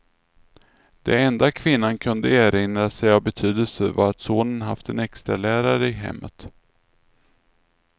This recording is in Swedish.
Det enda kvinnan kunde erinra sig av betydelse var att sonen haft en extralärare i hemmet.